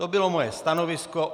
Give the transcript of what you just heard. To bylo moje stanovisko.